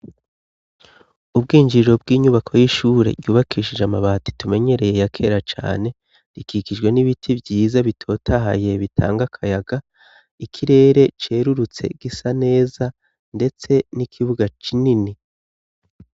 Ubwinjiriro bw'inyubako y'ishure ryubakishije amabati tumenyereye ya kera cane rikikijwe n'ibiti vyiza bitotahaye bitanga akayaga. Ikirere cerurutse gisa neza, ndetse n'ikibuga kinini.